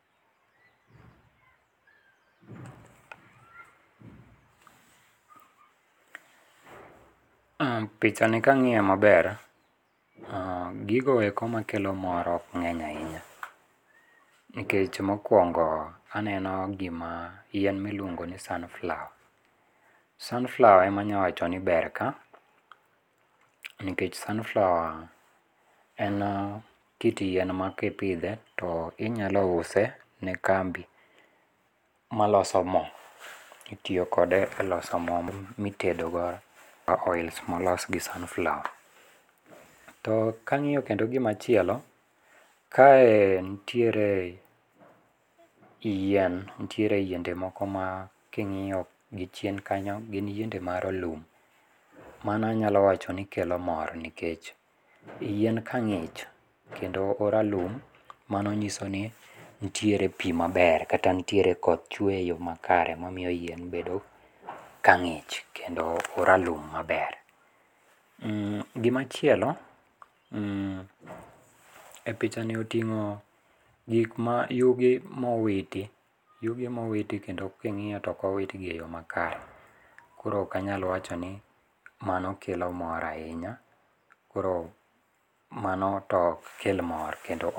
Uhm pichani kang'ie maber, uuh gigo eko makelo mor ok ng'eny ainya. Nikech mokwongo aneno gima yien miluongo ni sunflower. Sunflower ema anya wacho ni ber ka, nikech sunflower en uh kit yien ma kipidhe to inyalo use ne kambi maloso moo, itio kode e loso moo m mitedo go, oils molos gi sunflower. To kang'io kendo gima chielo, kae ntiere yien, ntiere yiende moko ma king'io gi chien kanyo gin yiende marolum. Mano anyalo wacho ni kelo mor nikech, yien ka ng'ich kendo oralum, mano nyiso ni ntiere pii maber, kata ntiere koth chwe e yoo makare mamio yien bedo ka ng'ich kendo oralum maber. Mm gima chielo mm e pichani oting'o gikma yugi mowiti, yugi emowiti kendo king'io toko witgi e yoo makare. Koro okanyal wacho ni mano kelo mor ahinya, koro mano tokel mor kendo.